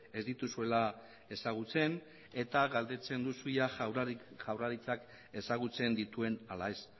ez dituzuela ezagutzen eta galdetzen duzu ia jaurlaritzak ezagutzen dituen ala ez